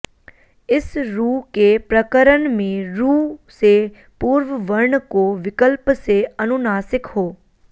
इस रु के प्रकरण में रु से पूर्व वर्ण को विकल्प से अनुनासिक हो